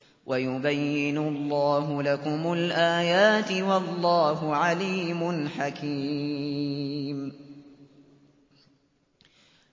وَيُبَيِّنُ اللَّهُ لَكُمُ الْآيَاتِ ۚ وَاللَّهُ عَلِيمٌ حَكِيمٌ